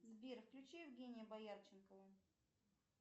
сбер включи евгения боярченкова